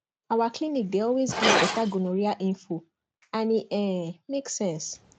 our clinic dey always give better gonorrhea info and e um make sense